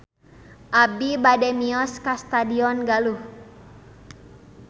Abi bade mios ka Stadion Galuh